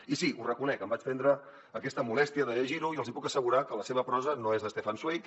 i sí ho reconec em vaig prendre aquesta molèstia de llegir·ho i els hi puc assegurar que la seva prosa no és de stefan zweig